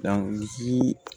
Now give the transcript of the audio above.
Danzi